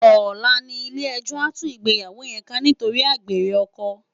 Òlá ni ilé èjò á tú igbéyáwó yèn ká nitóri ágbéré òkò